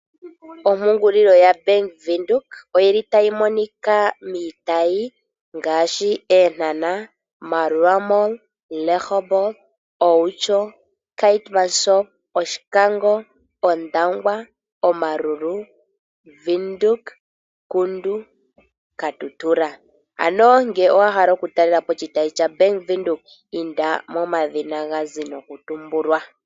Ompungulilo yaBank Windhoek oyili tayi monika miitayi ngaashi Eenhana, Maerua Mall, Rehoboth, Outjo, Keetmanshop, Oshikango, Ondangwa, Omaruru, Windhoek, Kudu, Katutura. Ano ngele owa hala oku talelapo oshitayi shaBank Windhoek inda momadhina gazi noku tumbulwa.